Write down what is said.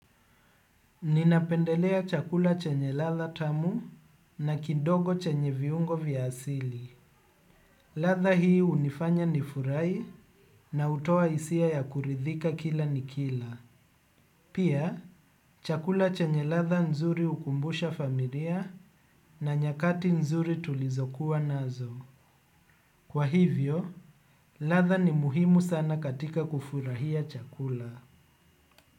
Ninapendelea chakula chenye ladha tamu na kidogo chenye viungo vya asili. Ladha hii hunifanya ni furahi na hutoa hisia ya kuridhika kila nikila. Pia, chakula chenye ladha nzuri hukumbusha familia na nyakati nzuri tulizokuwa nazo. Kwa hivyo, latha ni muhimu sana katika kufurahia chakula.